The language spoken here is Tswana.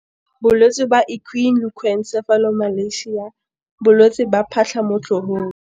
Bolwetse ba Equine leucoencephalomalacia, bolwetse ba "phatlha mo tlhogong".